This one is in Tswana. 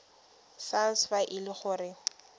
sars fa e le gore